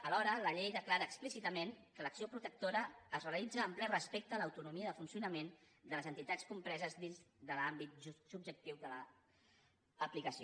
alhora la llei declara explícitament que l’acció protectora es realitza amb ple respecte a l’autonomia de funcionament de les entitats compreses dins de l’àmbit subjectiu de l’aplicació